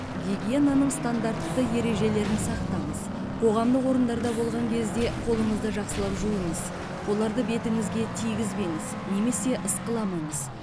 гигиенаның стандартты ережелерін сақтаңыз қоғамдық орындарда болған кезде қолыңызды жақсылап жуыңыз оларды бетіңізге тигізбеңіз немесе ысқыламаңыз